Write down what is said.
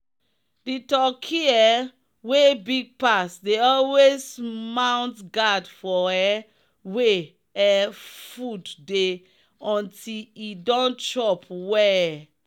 the turkey um wey big pass dey always mount guard for um wey um food dey until e don chop well.